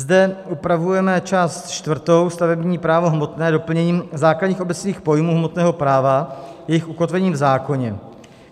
Zde upravujeme část čtvrtou, stavební právo hmotné, doplněním základních obecných pojmů hmotného práva, jejich ukotvením v zákoně.